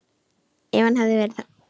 Ef hann hefði verið þannig.